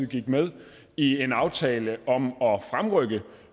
gik med i en aftale om